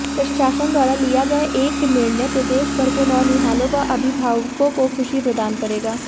प्रशासन द्वारा लिया गया एक निर्णय प्रदेशभर के नौनिहालों व अभिभावकों को खुशी प्रदान करेगा